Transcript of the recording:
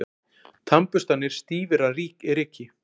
Tannburstarnir stífir af ryki.